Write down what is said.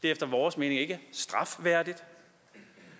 efter vores mening ikke strafværdigt